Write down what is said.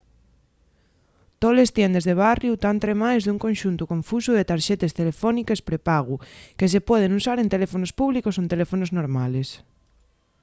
toles tiendes de barriu tán tremaes d’un conxuntu confusu de tarxetes telefóniques prepagu que se pueden usar en teléfonos públicos o en teléfonos normales